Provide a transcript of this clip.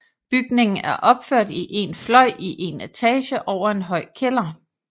Bygningen er opført i én fløj i én etage over en høj kælder